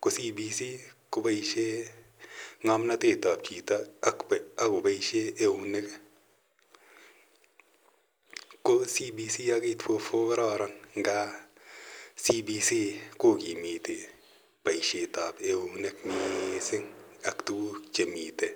ko CBC ko paishe ng'amnatet ap chito ak kopaishe eunek. Ko CBC ak 8.4.4 ko kararan nga CBC ko kimiti poishet ap eunek missing' ak tuguk che miten.